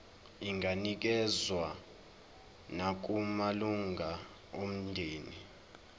inganikezswa nakumalunga omndeni